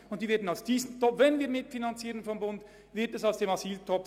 Wenn der Bund denn etwas mitfinanzieren würde, entnähme er die Mittel dem Asyltopf.